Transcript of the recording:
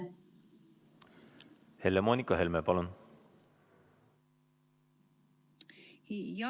Helle-Moonika Helme, palun!